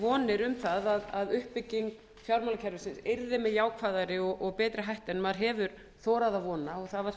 vonir um það að uppbygging fjármálakerfisins yrði með jákvæðari og betri hætti en maður hefur þorað að vona og það var